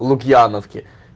лукьяновке